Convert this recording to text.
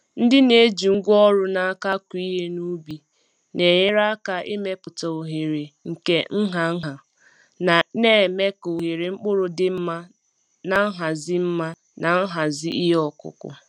Ndị na-eji ngwa ọrụ n’aka akụ ihe n’ubi na-enyere aka ịmepụta oghere nke nha nha, na-eme ka ohere mkpụrụ dị mma na nhazi mma na nhazi ihe ọkụkụ.